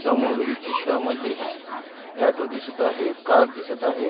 समोरील चित्रांमध्ये ऑटो दिसत आहे कार दिसत आहे.